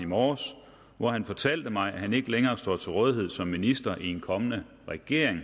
i morges hvor han fortalte mig at han ikke længere står til rådighed som minister i en kommende regering